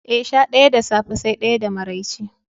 Eh, sha ɗaya da safe sai ɗaya da maraice.